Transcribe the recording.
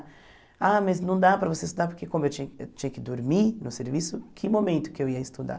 Ah, mas não dá para você estudar porque como eu tinha que tinha que dormir no serviço, que momento que eu ia estudar?